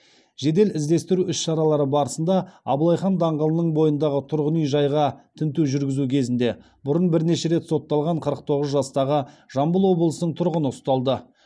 жедел іздестіру іс шаралары барысында абылай хан даңғылының бойындағы тұрғын үй жайға тінту жүргізу кезінде бұрын бірнеше рет сотталған қырық тоғыз жастағы жамбыл облысының тұрғыны ұсталды